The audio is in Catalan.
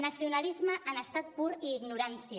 nacionalisme en estat pur i ignorància